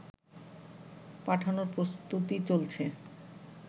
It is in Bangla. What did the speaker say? পাঠানোর প্রস্তুতি চলছে